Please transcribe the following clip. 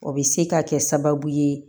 O bɛ se ka kɛ sababu ye